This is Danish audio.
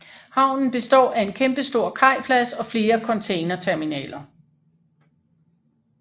Havnen består af en kæmpestor kajplads og flere containerterminaler